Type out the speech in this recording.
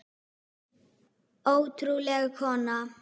Ótrúleg kona.